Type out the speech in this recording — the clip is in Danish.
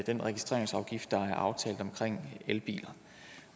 den registreringsafgift der er aftalt om elbiler